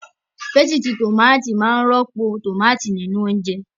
Pésìtì tòmátì máa rọ́pò tòmátì nínú oúnjẹ.